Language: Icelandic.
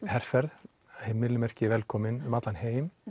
herferð velkomin um allan heim